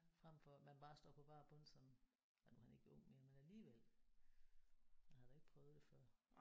Fremfor at man bare står på bar bund som ja nu er han ikke ung mere men alligevel han har da ikke prøvet det før